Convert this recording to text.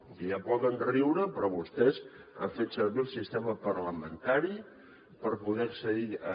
i ja poden riure però vostès han fet servir el sistema parlamentari per poder accedir hi